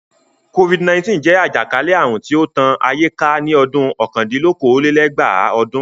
Covid-19 jẹ́ àjàkálẹ̀ àrùn tó tán ayé ká ní ọ̀kandín-lókòó-lé-ẹgbàá ọdún.